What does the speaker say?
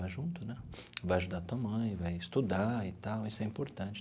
Junto né vai ajudar a tua mãe, vai estudar e tal, isso é importante.